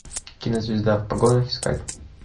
кинозвезда в погонах искать